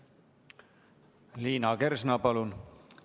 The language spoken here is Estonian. Liina Kersna, palun!